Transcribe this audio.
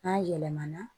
N'a yɛlɛmana